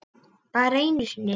Bara einu sinni?